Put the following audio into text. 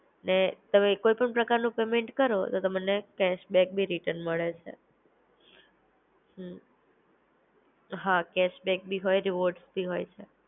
ને તમે હોઈ પણ પ્રકારનો પેમેન્ટ કરો ને તમને કેશબેક બી રીટર્ન મળે. હા કેશબેક ભી હોય રિવોર્ડસ બી હોય છે